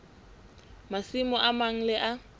masimo a mang le a